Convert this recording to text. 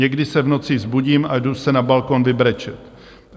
Někdy se v noci vzbudím a jdu se na balkon vybrečet.